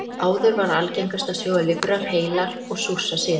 Áður var algengast að sjóða lifrar heilar og súrsa síðan.